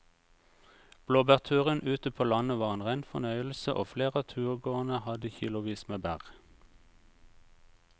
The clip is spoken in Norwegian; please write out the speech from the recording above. Blåbærturen ute på landet var en rein fornøyelse og flere av turgåerene hadde kilosvis med bær.